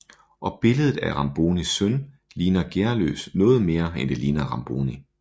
Og billedet af Rambonis søn ligner Gearløs noget mere end det ligner Ramboni